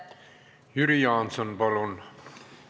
Jüri Jaanson, palun!